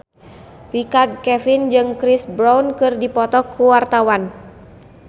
Richard Kevin jeung Chris Brown keur dipoto ku wartawan